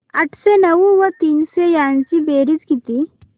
आठशे नऊ व तीनशे यांची बेरीज किती